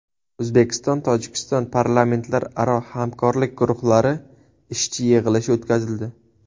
O‘zbekistonTojikiston parlamentlararo hamkorlik guruhlari ishchi yig‘ilishi o‘tkazildi.